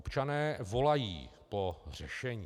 Občané volají po řešení.